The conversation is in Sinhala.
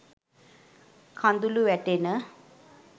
කඳුලු වැටෙන